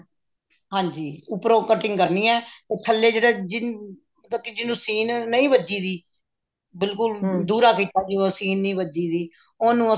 ਹਾਂਜੀ ਉੱਪਰੋਂ cutting ਕਰਨੀ ਹੈ or ਥੱਲੇ ਜਿਹੜਾ ਜਿਹਨੂੰ ਸੀਨ ਨਹੀ ਵੱਜੀ ਹੋਈ ਬਿਲਕੁਲ ਦੁਹਰਾ ਸੀਗਾ ਜਿਵੇਂ ਸੀਨ ਨਹੀਂ ਵੱਜੀ ਹੋਈ ਉਹਨੂੰ ਅਸੀਂ